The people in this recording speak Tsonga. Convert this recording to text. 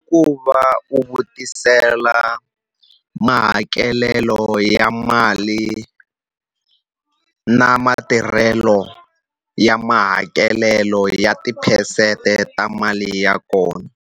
I ku va u vutisela mahakelelo ya mali, na matirhelo ya mahakelelo ya tiphesente ta mali ya kona.